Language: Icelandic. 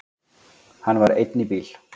Hann var einn í bíl.